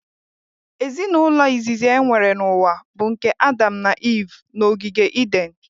Ezinaụlọ izizi enwere n'ụwa bụ nke Adam na Iv n'ogige Iden